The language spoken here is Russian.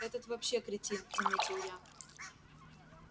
этот вообще кретин заметил я